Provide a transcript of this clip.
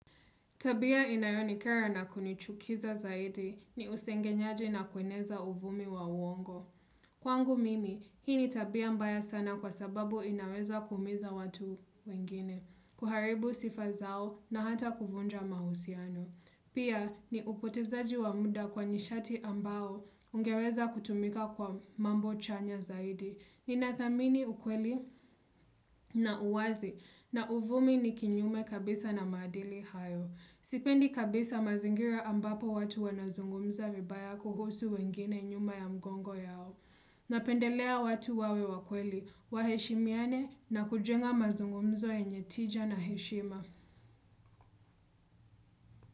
Tabia inayonikera na kunichukiza zaidi ni usengenyaji na kueneza uvumi wa uongo. Kwangu mimi, hii ni tabia mbaya sana kwa sababu inaweza kuumiza watu wengine, kuharibu sifa zao na hata kuvunja mahusiano. Pia ni upotezaji wa mda kwa nishati ambao ungeweza kutumika kwa mambo chanya zaidi. Nina thamini ukweli na uwazi na uvumi ni kinyume kabisa na maadili hayo. Sipendi kabisa mazingira ambapo watu wanazungumza vibaya kuhusu wengine nyuma ya mgongo yao. Napendelea watu wawe wa kweli, waheshimiane na kujenga mazungumzo yenye tija na heshima.